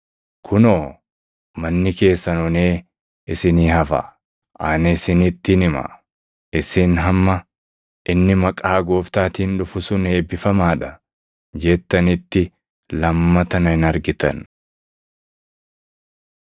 Kunoo, manni keessan onee isinii hafa. Ani isinittin hima; isin hamma, ‘Inni maqaa Gooftaatiin dhufu sun eebbifamaa dha’ + 13:35 \+xt Far 118:26\+xt* jettanitti lammata na hin argitan.”